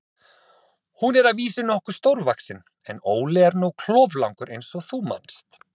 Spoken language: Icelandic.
Hún er að vísu nokkuð stórvaxin, en Óli er nú kloflangur eins og þú manst.